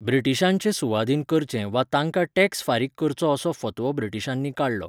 ब्रिटीशांचे सुवाधीन करचें वा तांकां टॅक्स फारीक करचो असो फतवो ब्रिटीशांनी काडलो.